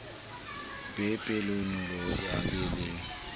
be pelonolo a be le